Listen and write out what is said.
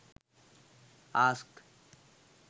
ask